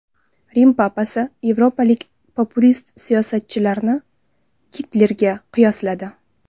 Rim papasi yevropalik populist siyosatchilarni Gitlerga qiyosladi.